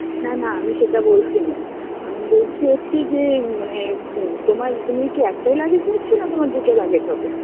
না না আমি সেটা বলছি না, আমি বলছি হচ্ছে যে মানে, তোমার তুমি কী একটাই luggage নিচ্ছো না তোমার দুটো luggage হবে